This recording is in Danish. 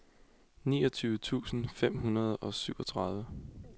niogtyve tusind fem hundrede og syvogtredive